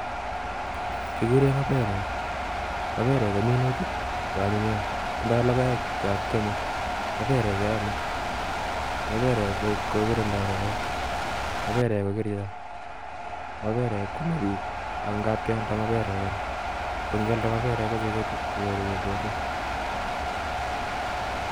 Kikure maberek ,maberek ko minutik che anyinyen tindoi lokoek chekeame maberek keame maberek akokirindoi rupet maberek ko kerichot maberek kwame bik ako kab kealedoi kora ngo ngialde maberek kuchekuket inyoru chepkondok